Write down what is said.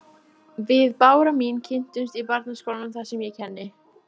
Við Bára mín kynntumst í barnaskólanum þar sem ég kenni.